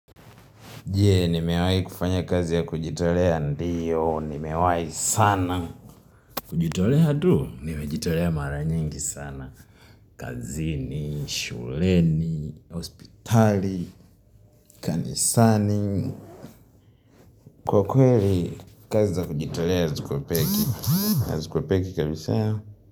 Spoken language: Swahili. Jee, nimewai kufanya kazi ya kujitolea ndiyo, nimewai sana. Kujitolea tu, nimejitolea maranyingi sana. Kazini, shuleni, hospitali, kanisani. Kwa kweli, kazi za kujitolea zikopeki. Hazikopeki kabisaa?